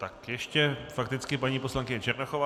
Tak ještě fakticky paní poslankyně Černochová.